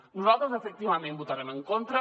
nosaltres efectivament hi votarem en contra